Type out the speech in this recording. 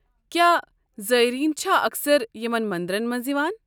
کیٛاہ زٲیرین چھا اکثر یمن مندرن منٛز یوان۔